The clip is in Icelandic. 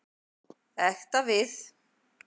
Ekta við.